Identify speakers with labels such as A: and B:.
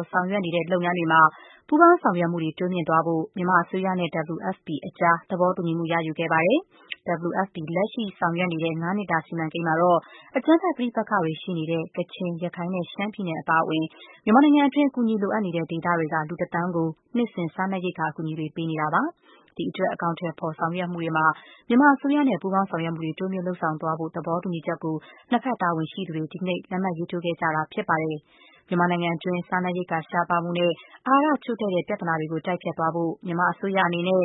A: ာ် ဆောင်ရွက်နေတဲ့ လုပ်ငန်းတွေမှာ ပူးပေါင်းဆောင်ရွက်မှုတွေ တိုးမြှင့်သွားဖို့ မြန်မာအစိုးရနဲ့ WFP အကြား သဘောတူညီမှု ရယူခဲ့ကြပါတယ်။ WFP လက်ရှိဆောင်ရွက်နေတဲ့ ၅ နှစ်တာ စီမံကိန်းမှာတော့ အကြမ်းဖက်ပဋိပက္ခတွေ ရှိနေတဲ့ ကချင်၊ ရခိုင်နဲ့ ရှမ်းပြည်နယ် အပါအဝင် မြန်မာနိုင်ငံတွင်း အကူအညီ လိုအပ်တဲ့ ဒေသတွေက လူ တသန်းကို နှစ်စဉ် စားနပ်ရိက္ခာအကူအညီတွေ ပေးနေတာဖြစ်ပါတယ်။ ဒီအတွက် အကောင်အထည် ဖော်ဆောင်ရွက်မှုတွေမှာ မြန်မာအစိုးရနဲ့ ပူးပေါင်း ဆောင်ရွက်မှုတွေ တိုးမြှင့်လုပ်ဆောင်သွားဖို့ သဘောတူညီချက်ကို နှစ်ဘက်တာဝန်ရှိသူတွေက ဒီကနေ့ လက်မှတ်ရေးထိုးခဲ့ကြတာ ဖြစ်ပါတယ်။ မြန်မာနိုင်ငံတွင်း စားနပ်ရိက္ခာရှားပါးမှုနဲ့ အာဟာရချို့တဲ့မှု ပြဿနာတွေကို တိုက်ဖျက်သွားဖို့ မြန်မာအစိုးရအနေနဲ့